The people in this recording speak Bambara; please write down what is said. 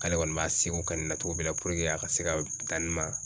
K'ale kɔni b'a seko kɛ nin na cogo min na a ka se ka dan nin ma